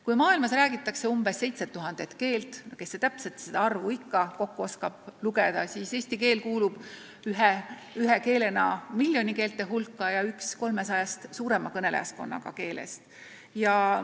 Kui maailmas räägitakse umbes 7000 keelt – kes see täpset arvu ikka kokku oskab lugeda –, siis eesti keel kuulub ühe keelena miljonikeelte hulka ja on üks 300-st suurema kõnelejaskonnaga keelest.